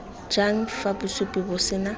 jang fa bosupi bo sena